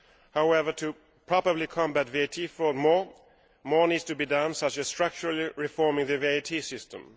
However, to properly combat VAT fraud, more needs to be done such as structurally reforming the VAT system.